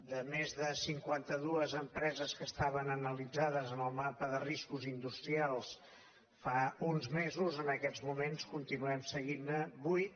de més de cinquanta·dues empreses que estaven analitzades en el mapa de riscos industrials fa uns mesos en aquests moments continuem seguint·ne vuit